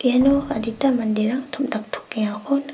iano adita manderang tom·daktokengako nik--